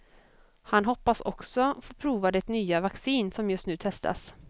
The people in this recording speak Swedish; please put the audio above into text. Han hoppas också få prova det nya vaccin som just ny testas.